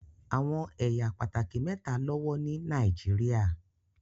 Awọn ẹya pátákì méta lọwọ ni Nàìjíríà